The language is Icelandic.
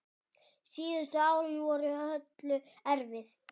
Síðustu árin voru Höllu erfið.